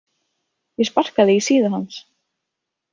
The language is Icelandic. Ég sparkaði í síðu hans.